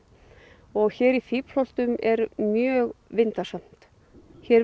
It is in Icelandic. og hér í Fíflholtum er mjög vindasamt hér